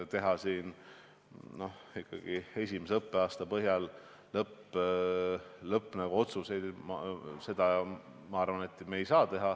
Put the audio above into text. Teha esimese õppeaasta põhjal lõppotsuseid – ma arvan, et seda me teha ei saa.